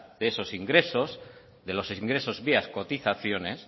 de esos ingresos de los ingresos vía cotizaciones